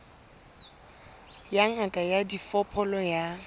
ya ngaka ya diphoofolo ya